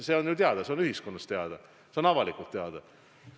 See on ju teada, see on ühiskonnas teada, see on avalikult teada.